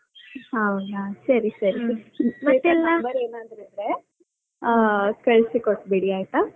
ಹೌದಾ ಸರಿ, ಸರಿ. ಅವಳಾ number ಏನಾದ್ರು ಇದ್ರೆ ಆ ಕಳ್ಲಸಿ ಕೊಟ್ಬಿಡಿ ಆಯ್ತಾ?